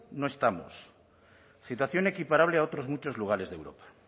no estamos situación equiparable a otros muchos lugares de europa